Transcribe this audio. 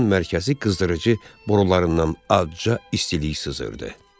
Mərkəzi qızdırıcı borularından azca istilik sızırdı.